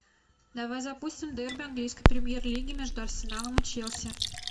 давай запустим дерби английской премьер лиги между арсеналом и челси